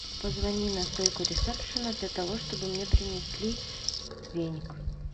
позвони на стойку ресепшена для того чтобы мне принесли веник